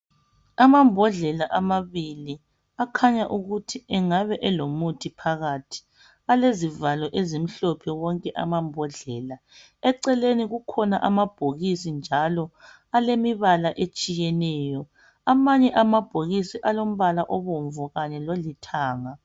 Amambodlela amabili akhanya ukuthi engabe elomuthi phakathi alezivalo ezimhlophe wonke ama mbodlela. Eceleni kukhona amabhokisi njalo alemibala etshiyeneyo, amanye amabhokisi alombala obomvu kanye lolithanga.